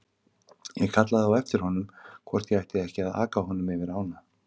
Ég kallaði á eftir honum hvort ég ætti ekki að aka honum yfir ána.